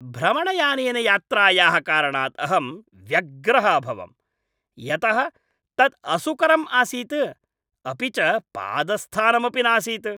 भ्रमणयानेन यात्रायाः कारणात् अहं व्यग्रः अभवम्, यतः तत् असुकरम् आसीत्, अपि च पादस्थानमपि नासीत्।